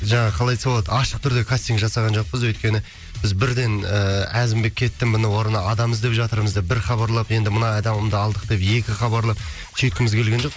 жаңағы қалай айтса болады ашық түрде кастинг жасаған жоқпыз өйткені біз бірден ыыы әзімбек кетті міне орнына адам іздеп жатырмыз деп бір хабарлап енді мына адамды алдық деп екі хабарлап сөйткіміз келген жоқ